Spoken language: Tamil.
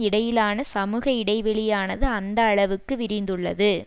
இடையிலான சமூக இடைவெளியானது அந்த அளவுக்கு விரிந்துள்ளது